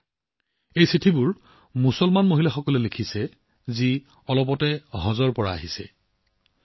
শেহতীয়াকৈ হজ তীৰ্থযাত্ৰা কৰা সেই মুছলমান মহিলাসকলে এই চিঠিবোৰ লিখিছে